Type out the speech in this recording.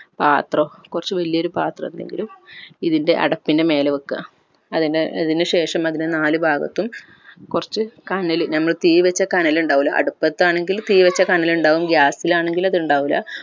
പാത്രം കൊറച്ച് വലിയ ഒരു പാത്രം എന്തെങ്കിലും ഇതിൻ്റെ അടപ്പിൻ്റെ മേലെ വെക്ക അതിൻ്റെ അതിന് ശേഷം അതിൻ്റെ നാല് ഭാഗത്തും കൊർച്ച് കനൽ നമ്മൾ തീവെച്ച കനൽ ഇണ്ടാവില്ലേ അടുപത്താണെങ്കിൽ തീവെച്ച കനൽ ഇണ്ടാവും gas ഇൽ ആണെങ്കിൽ അത് ഇണ്ടാവില്ല